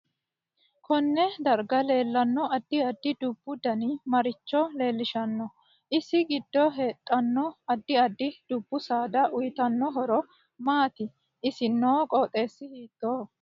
Konne darga leelanno adi addi dubbu danni maricho leelishanno isi giddo heedhanno addi addi dubbu saada uyiitanno horo maati isi noo qooxeesi hiitooho